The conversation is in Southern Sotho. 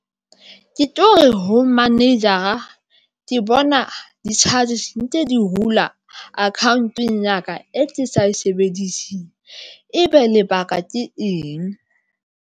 Ke ho manager-a ke bona di-charges ntse di hula account-ong ya ka e ke sa e sebediseng, ebe lebaka ke eng?